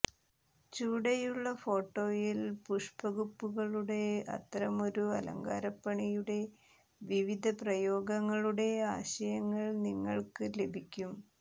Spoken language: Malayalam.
ചുവടെയുള്ള ഫോട്ടോയിൽ പുഷ്പകുപ്പുകളുടെ അത്തരമൊരു അലങ്കാരപ്പണിയുടെ വിവിധ പ്രയോഗങ്ങളുടെ ആശയങ്ങൾ നിങ്ങൾക്ക് ലഭിക്കും